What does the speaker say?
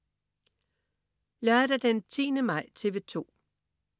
Lørdag den 10. maj - TV 2: